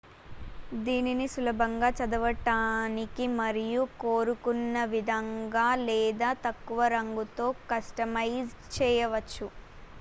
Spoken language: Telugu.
దీనిని సులభంగా చదవడానికి మరియు కోరుకున్నవిధంగా లేదా తక్కువ రంగుతో కస్టమైజ్ చేయవచ్చు